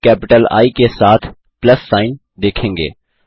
आप capital I के साथ प्लस सिग्न देखेंगे